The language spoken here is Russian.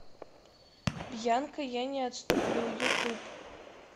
бьянка я не отступлю ютуб